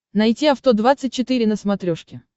найти авто двадцать четыре на смотрешке